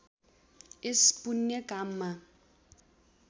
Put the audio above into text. यस पुण्य काममा